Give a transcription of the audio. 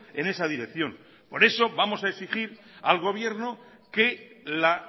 en esa dirección por eso vamos a exigir al gobierno que la